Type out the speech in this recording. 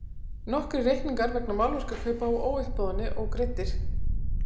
Nokkrir reikningar vegna málverkakaupa á uppboðinu ógreiddir.